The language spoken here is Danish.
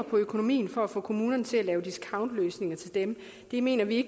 økonomi for at få kommunerne til at lave discountløsninger til dem mener vi